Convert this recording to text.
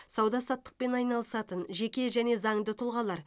сауда саттықпен айналысатын жеке және заңды тұлғалар